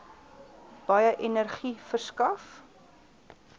baie energie verskaf